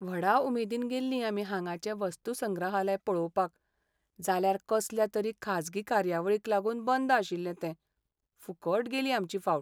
व्हडा उमेदीन गेल्लीं आमी हांगाचें वस्तूसंग्रहालय पळोवपाक. जाल्यार कसल्या तरी खाजगी कार्यावळीक लागून बंद आशिल्लें तें. फुकट गेली आमची फावट.